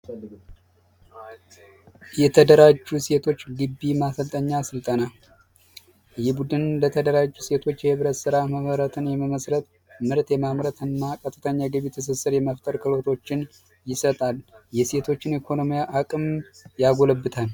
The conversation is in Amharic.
እየተደራጁ ሴቶች ጊቢ ማሰልጠኛ ስልጠና በቡድን የተደራጀ የህብረት ስራ ማህበራትን መመስረት ምርት የማምረትና ቀጥተኛ የገቢ ትስስር አገልግሎቶችን ይሰጣል የሴቶችን የኢኮኖሚ አቅም ያጎለብታል።